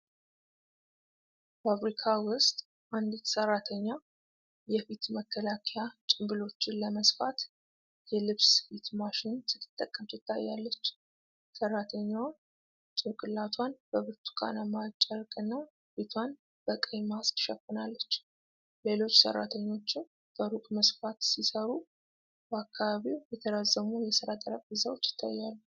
ፋብሪካ ውስጥ፣ አንዲት ሰራተኛ የፊት መከላከያ ጭምብሎችን ለመስፋት የልብስ ስፌት ማሽን ስትጠቀም ትታያለች። ሰራተኛዋ ጭንቅላቷን በብርቱካናማ ጨርቅና ፊቷን በቀይ ማስክ ሸፍናለች። ሌሎች ሰራተኞችም በሩቅ መስፋት ሲሰሩ በአካባቢው የተራዘሙ የስራ ጠረጴዛዎች ይታያሉ።